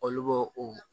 Olu b'o o